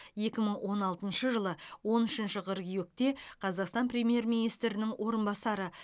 екі мың он алтыншы жылы он үшінші қыркүйекте қазақстан премьер министрінің орынбасары